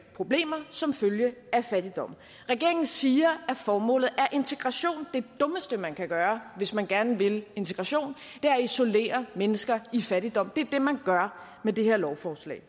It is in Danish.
problemer som følge af fattigdommen regeringen siger at formålet er integration det dummeste man kan gøre hvis man gerne vil integration er at isolere mennesker i fattigdom det er det man gør med det her lovforslag